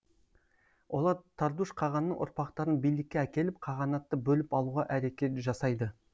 олар тардуш қағанның ұрпақтарын билікке әкеліп қағанатты бөліп алуға әрекет жасайды